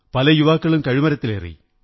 പല യുവാക്കളും കഴുമരത്തിലേറി